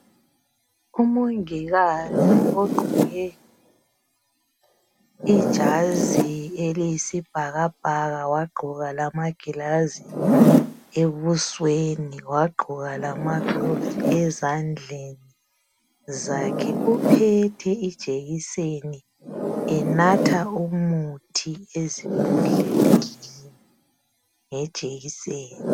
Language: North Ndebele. Umongikazi ogqoke ijazi eliyisibhakabhaka wagqoka lamangilazi ebusweni wagqoka lamagilovisi ezandleni zakhe uphethe ijekiseni enatha umuthi ezimbodleleni ngejekiseni.